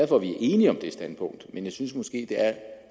for at vi er enige om det standpunkt men jeg synes måske at det er